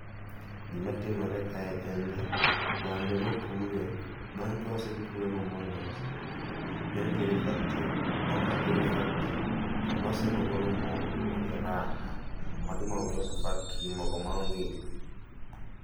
Gima timore kae en ni, bando nopure bang' kosepure momoye molose maber nene otere e factory, bang' kosetere e factory tolose mogolo mogo miluongo ni Raha. Magi mogo milose factory, mogo ma ong'ik